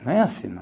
Não é assim.